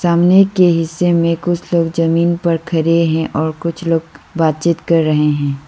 सामने के हिस्से में कुछ लोग जमीन पर खड़े हैं और कुछ लोग बातचीत कर रहे हैं।